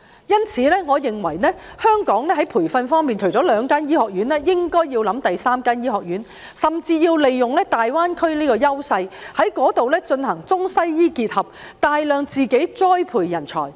因此，我認為香港在培訓方面，除了兩間醫學院外，應該考慮開設第三間醫學院，甚至利用大灣區的優勢，在那裏進行中西醫結合，大量栽培人才。